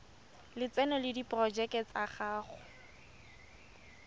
lotseno le diporojeke tsa go